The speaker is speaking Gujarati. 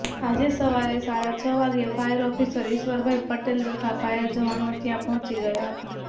આજે સવારે સાડા છ વાગ્યે ફાયરઓફિસર ઇશ્વરભાઇ પટેલ તથા ફાયરજવાનો ત્યાં પહોંચી ગયા હતા